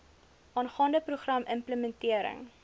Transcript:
aangaande program implementering